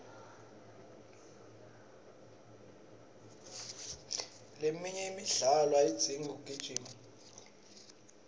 leminye imidlalo ayidzingi kugijima